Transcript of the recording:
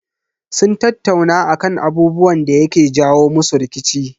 Sun tattauna akan abubuwan da yake jawo musu rikici.